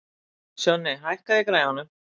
Sjonni, hækkaðu í græjunum.